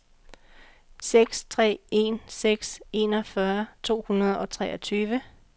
seks tre en seks enogfyrre to hundrede og treogtyve